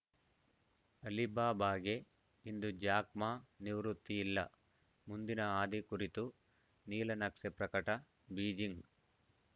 ಅಲಿಬಾಬಾಗೆ ಇಂದು Jack Ma ನಿವೃತ್ತಿ ಇಲ್ಲ ಮುಂದಿನ ಹಾದಿ ಕುರಿತು ನೀಲನಕ್ಷೆ ಪ್ರಕಟ ಬೀಜಿಂಗ್‌